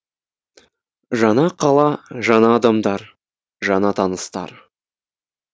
жаңа қала жаңа адамдар жаңа таныстар